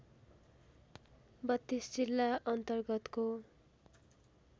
३२ जिल्ला अन्तर्गतको